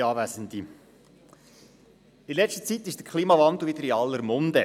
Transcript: In der letzten Zeit ist der Klimawandel wieder in aller Munde.